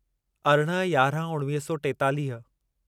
अरिड़हं यारहं उणिवीह सौ टेतालीह